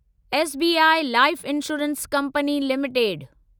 SBI life insurance company limited